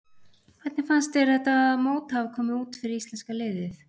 Hvernig fannst þér þetta mót hafa komið út fyrir íslenska liðið?